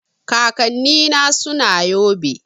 Kakanni na suna yobe